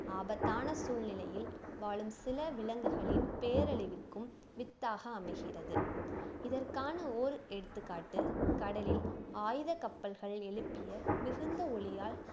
ஆபத்தான சூழ்நிலையில் வாழும் சில விலங்குகளின் பேரழிவுக்கும் வித்தாக அமைகிறது இதற்கான ஓர் எடுத்துக்காட்டு கடலில் ஆயுதக் கப்பல்கள் எழுப்பிய மிகுந்த ஒலியால்